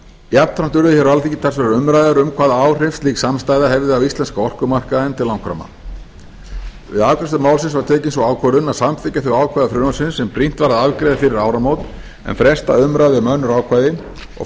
jafnframt urðu hér á alþingi talsverðar umræður um hvaða áhrif slík samstaða hefði á íslenska orkumarkaðinn til langframa við afgreiðslu málsins var tekin sú ákvörðun að samþykkja þau ákvæði frumvarpsins sem brýnt var að afgreiða fyrir áramót en fresta umræðu um önnur ákvæði og